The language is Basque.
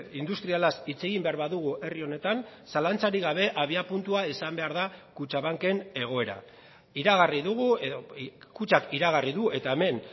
industrialaz hitz egin behar badugu herri honetan zalantzarik gabe abiapuntua izan behar da kutxabanken egoera iragarri dugu edo kutxak iragarri du eta hemen